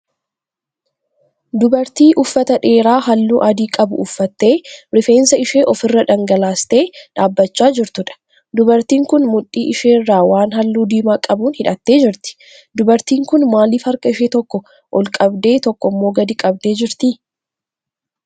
Dubartii uffata dheeraa halluu adii qabu uffattee rifeensa ishee ofirra dhangalaastee dhaabbachaa jirtuudha. Dubartiin kun mudhii isheerra waan halluu diimaa qabuun hidhattee jirti. Dubartiin kun maaliif harka ishee tokko ol qabdee tokko immoo gadi qabdee jirtii?